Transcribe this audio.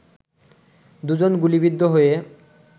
দুইজন গুলিবিদ্ধ হয়ে